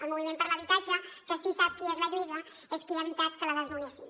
el moviment per l’habitatge que sí que sap qui és la lluïsa és qui ha evitat que la desnonessin